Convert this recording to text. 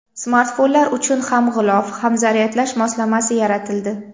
Smartfonlar uchun ham g‘ilof, ham zaryadlash moslamasi yaratildi.